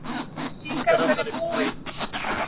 Sígarettan er búin.